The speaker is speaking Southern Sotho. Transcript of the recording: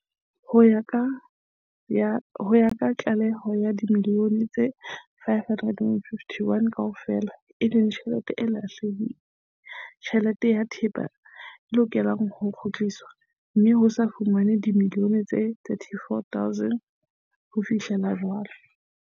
Ho ya ka tlaleho, ke dimiliyone tse R551.5 kaofela, e leng tjhelete le thepa, e lokelang ho kgutliswa, mme ho se ho fumanwe dimiliyone tse R34.2 ho fihlela jwale.